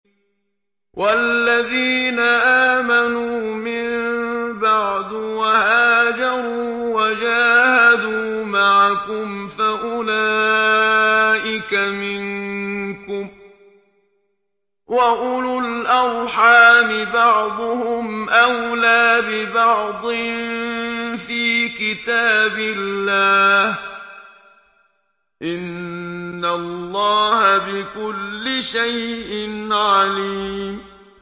وَالَّذِينَ آمَنُوا مِن بَعْدُ وَهَاجَرُوا وَجَاهَدُوا مَعَكُمْ فَأُولَٰئِكَ مِنكُمْ ۚ وَأُولُو الْأَرْحَامِ بَعْضُهُمْ أَوْلَىٰ بِبَعْضٍ فِي كِتَابِ اللَّهِ ۗ إِنَّ اللَّهَ بِكُلِّ شَيْءٍ عَلِيمٌ